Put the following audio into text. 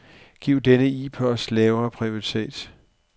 Giv denne e-post lav prioritet.